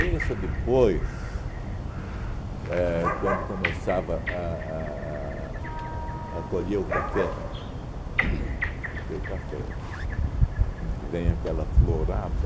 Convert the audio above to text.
Isso depois, éh quando começava a a a a colher o café uhn, porque o café ãh vem aquela florada,